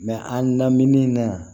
an naminɛn na